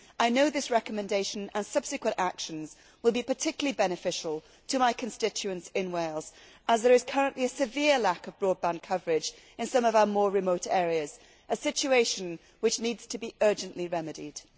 I know that this recommendation and subsequent actions will be particularly beneficial to my constituents in Wales, as there is currently a severe lack of broadband coverage in some of our more remote areas a situation which needs to be urgently remedied.